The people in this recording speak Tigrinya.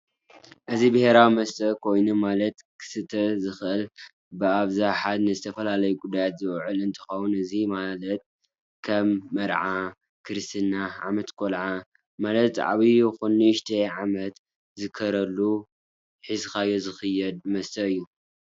እዚ ብሄራዊ መስተ ኮይኑ ማለት ክስተ ዝክእል ብኣብዛሓ ንዝተፈላላዩ ጉዳያት ዝውዕል እንትከውን እዚ መላት ከም መርዓ፣ ክርስትና ፣ዓመት ቆላዓ መለት ዓብይ ይኩመን ንእሽተይ ዓመት ዝክበረሉ ሕዝካዮ ዝክየድ መስተ እዩ